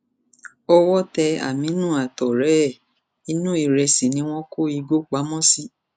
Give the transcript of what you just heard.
owó tẹ àmínú àtọrẹ ẹ inú ìrẹsì ni wọn kó igbó pamọ sí